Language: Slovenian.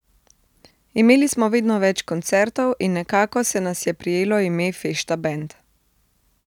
Imeli smo vedno več koncertov in nekako se nas je prijelo ime fešta bend.